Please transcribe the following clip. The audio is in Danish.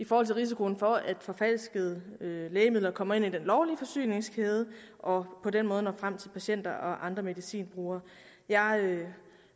for risikoen for at forfalskede lægemidler kommer ind i den lovlige forsyningskæde og på den måde når frem til patienter og andre medicinbrugere jeg